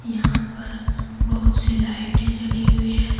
यहां पर बहुत सी लाइटें जली हुई है।